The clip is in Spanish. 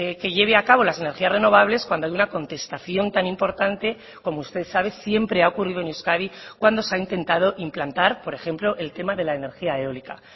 que lleve a cabo las energías renovables cuando hay una contestación tan importante como usted sabe siempre ha ocurrido en euskadi cuando se ha intentado implantar por ejemplo el tema de la energía eólica